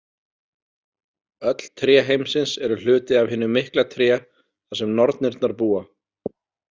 Öll tré heimsins eru hluti af hinu mikla tré þar sem nornirnar búa.